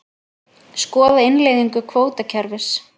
Skoða innleiðingu kvótakerfis